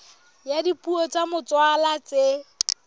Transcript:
ya dipuo tsa motswalla tse